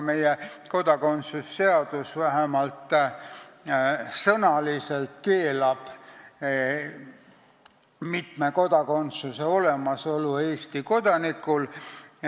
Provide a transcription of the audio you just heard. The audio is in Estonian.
Meie kodakondsuse seadus vähemalt sõnaliselt keelab mitme kodakondsuse olemasolu Eesti kodanikul.